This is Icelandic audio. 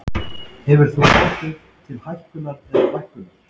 Hefur það áhrif til hækkunar eða lækkunar?